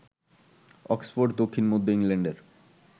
Oxford দক্ষিণ মধ্য ইংল্যান্ডের